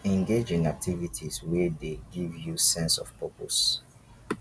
engage in activities wey dey give you sense of purpose